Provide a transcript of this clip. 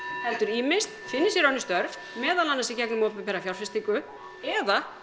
heldur ýmist finni sér önnur störf meðal annars í gegnum opinbera fjárfestingu eða